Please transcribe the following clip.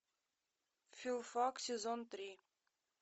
филфак сезон три